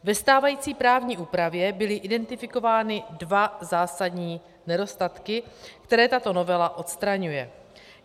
Ve stávající právní úpravě byly identifikovány dva zásadní nedostatky, které tato novela odstraňuje.